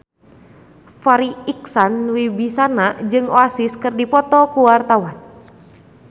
Farri Icksan Wibisana jeung Oasis keur dipoto ku wartawan